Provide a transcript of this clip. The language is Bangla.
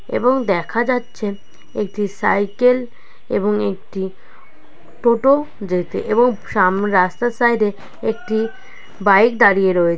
এবং দেখা যাচ্ছে একটি সাইকেল এবং একটি টোটো যেতে । এবং সামনে রাস্তার সাইড এ একটি বাইক দাঁড়িয়ে রয়ে--